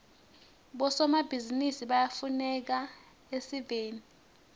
bosomabhizinisi bayafuneka esiveni